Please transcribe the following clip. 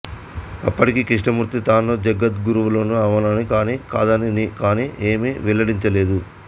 అప్పటికి కృష్ణమూర్తి తాను జగద్గురువును అవునని కాని కాదని కాని ఏమీ వెల్లడించలేదు